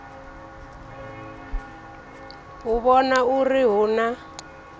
u vhona uri hu na